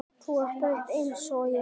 Þú ert þreytt einsog ég.